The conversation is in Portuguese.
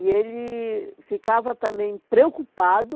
E ele ficava também preocupado